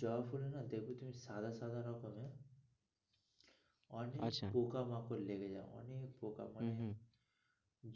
জবা ফুল না দেখবে তুমি সাদা সাদা রকমের আচ্ছা অনেক পোকা-মাকড় লেগে যাই হম হম